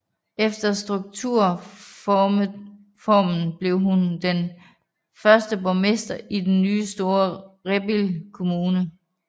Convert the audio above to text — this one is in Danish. Efter strukturreformen blev hun den første borgmester i den nye store Rebild Kommune